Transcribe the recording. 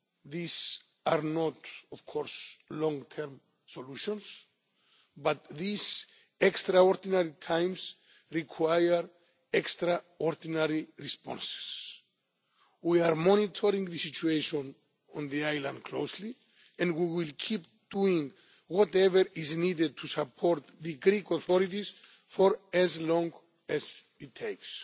These are not of course long term solutions, but these extraordinary times require extraordinary responses. We are monitoring the situation on the island closely and we will keep doing whatever is needed to support the Greek authorities for as long as it takes.